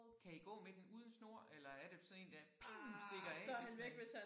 Kan I gå med den uden snor eller er det sådan én der stikker af hvis man